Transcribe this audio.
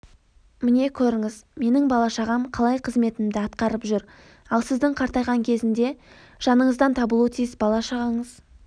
міне көріңіз менің бала-шағам қалай қызметімді атқарып жүр ал сіздің қартайған кезде жаныңыздан табылуы тиіс бала-шағаңыз